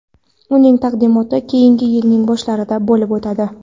Uning taqdimoti keyingi yilning boshlarida bo‘lib o‘tadi.